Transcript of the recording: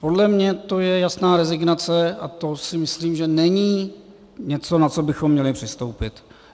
Podle mě to je jasná rezignace a to si myslím, že není něco, na co bychom měli přistoupit.